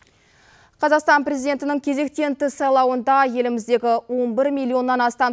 қазақстан президентінің кезектен тыс сайлауында еліміздегі он бір миллионнан астам